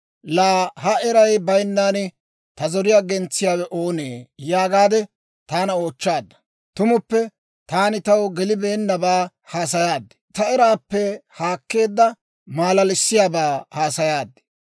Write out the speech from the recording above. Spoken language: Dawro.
‹Laa ha eray bayinnan ta zoriyaa gentsiyaawe oonee?› yaagaade taana oochchaadda. Tumuppe taani taw gelibeennabaa haasayaad; ta eraappe haakkeedda malalissiyaabaa haasayaad.